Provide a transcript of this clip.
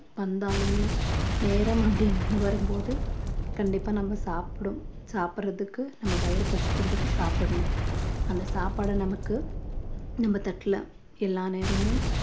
வந்தாலுமே நேரம் அப்படின்னு வரும் போது கண்டிப்பா நம்ம சாப்பிட~ சாப்பிடறதுக்கு நம்ம வயிறு பசிக்கிறதுக்கு சாப்பிடணும் அந்த சாப்பாட நமக்கு நம்ம தட்டுல எல்லா நேரமும்